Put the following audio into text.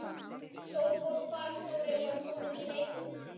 Sólborg fararstjóri var komin í leitirnar.